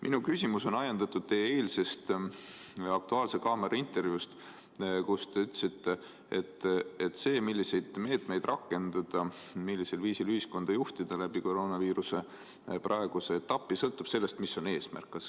Minu küsimus on ajendatud teie eilsest "Aktuaalses kaameras" antud intervjuust, kus te ütlesite, et see, milliseid meetmeid rakendada, millisel viisil ühiskonda juhtida läbi koroonaviiruse praeguse etapi, sõltub sellest, mis on eesmärk.